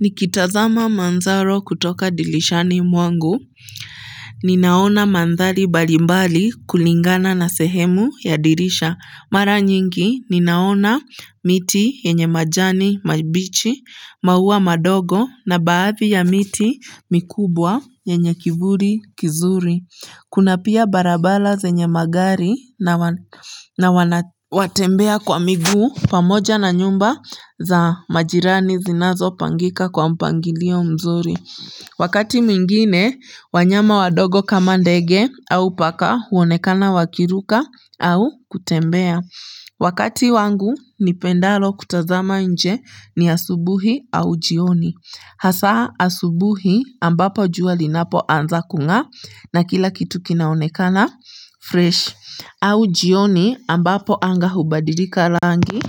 Nikitazama manzaro kutoka dirishani mwangu ninaona mandhari mbalimbali kulingana na sehemu ya dirisha mara nyingi ninaona miti yenye majani mabichi maua madogo na baadhi ya miti mikubwa yenye kivuli kizuri kuna pia barabara zenye magari na wanatembea kwa miguu pamoja na nyumba za majirani zinazopangika kwa mpangilio mzuri. Wakati mwingine, wanyama wadogo kama ndege au paka huonekana wakiruka au kutembea. Wakati wangu, nipendalo kutazama nje ni asubuhi au jioni. Hasa asubuhi ambapo jua linapoanza kungaa na kila kitu kinaonekana fresh. Au jioni ambapo anga hubadilika rangi